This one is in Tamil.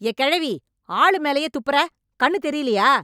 ஏய் கெழவி, ஆளு மேலயே துப்பறே... கண்ணு தெரியலயா?